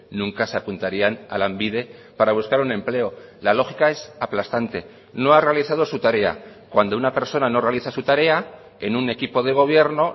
nunca se apuntarían a lanbide para buscar un empleo la lógica es aplastante no ha realizado su tarea cuando una persona no realiza su tarea en un equipo de gobierno